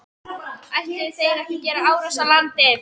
Ætluðu þeir að gera árás á landið?